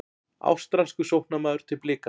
Ástralskur sóknarmaður til Blika